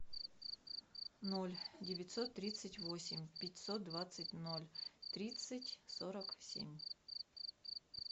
ноль девятьсот тридцать восемь пятьсот двадцать ноль тридцать сорок семь